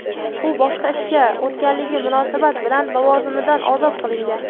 u boshqa ishga o‘tganligi munosabat bilan lavozimidan ozod qilingan.